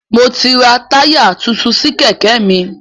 Mo ti rà táyà tuntun sí Kẹ̀kẹ́ mi